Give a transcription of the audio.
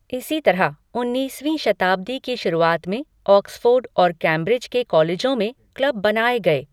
इसी तरह, उन्नीसवीं शताब्दी की शुरुआत में ऑक्सफोर्ड और कैम्ब्रिज के कॉलेजों में क्लब बनाए गए।